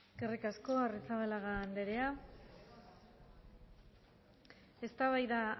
denoi eskerrik asko arrizabalaga anderea eztabaida